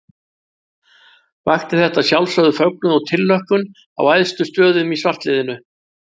Vakti þetta að sjálfsögðu fögnuð og tilhlökkun á æðstu stöðum í svartliðinu.